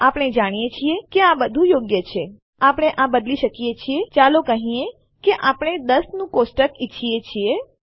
આપણે જાણીએ છીએ કે આ બધું યોગ્ય છે આપણે આ બદલી શકીએ છીએ ચાલો કહીએ કે આપણે 10 નું કોષ્ટક ઈચ્છીએ છીએ